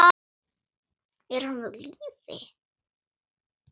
Er hann á lífi?